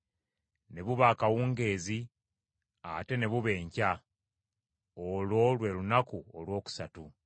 Ne buba akawungeezi ate ne buba enkya. Olwo lwe lunaku olwokusatu.